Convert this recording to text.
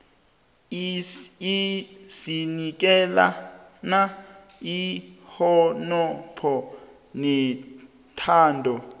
sinikelana ihonopho nethando